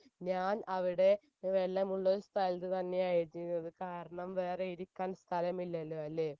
ഞാൻ അവിടെ വെള്ളമുള്ള ഒരു സ്ഥലത്തു തന്നെയാണ് ഇരുന്നത് കാരണം വേറെ ഇരിക്കാൻ സ്ഥലമില്ലല്ലോ അല്ലെ